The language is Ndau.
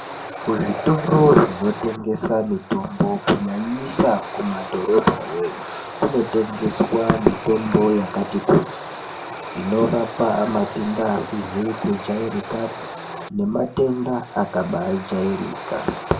Zvitoro zvino tengesa mitombo kunyanyisa ku madhorobha yo iyo kuno tengeswa mitombo yakati kuti ino rapa matenda asizi ku jairikapi ne matenda akabai jairika.